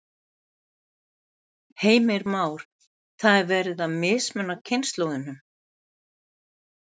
Heimir Már: Það er verið að mismuna kynslóðunum?